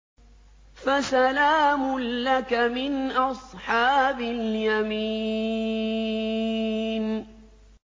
فَسَلَامٌ لَّكَ مِنْ أَصْحَابِ الْيَمِينِ